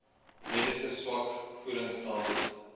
medisyne swak voedingstatus